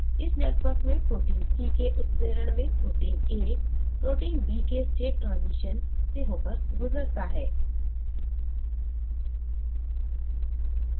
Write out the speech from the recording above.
इस network में protein c के उत्प्रेरण में protein a protein b के state ट्रांज़ीशन से होकर गुजरता है